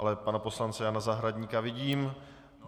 Ale pana poslance Jana Zahradníka vidím.